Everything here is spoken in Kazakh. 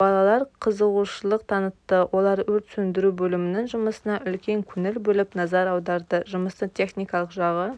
балалар қызығушылық танытты олар өрт сөндіру бөлімінің жұмысына үлкен көңіл бөліп назар аударды жұмыстың техникалық жағы